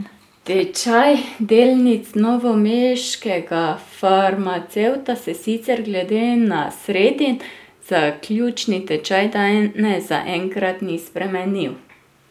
Tečaj delnic novomeškega farmacevta se sicer glede na sredin zaključni tečaj danes zaenkrat ni spremenil.